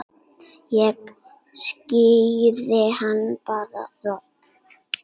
Ég skíri hann bara Rolu.